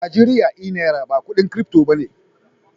Najeriya e Naira ba kudin crypto ba ne.